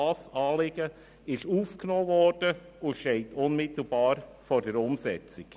Auch dieses Anliegen wurde aufgenommen und steht unmittelbar vor der Umsetzung.